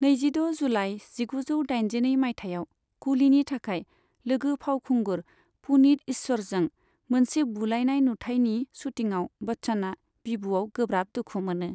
नैजिद' जुलाइ जिगुजौ दाइनजिनै मायथाइयाव कुलीनि थाखाय लोगो फावखुंगुर पुनीत इस्सरजों मोनसे बुलायनाय नुथायनि शूटिंआव बच्चनआ बिबुआव गोब्राब दुखु मोनो।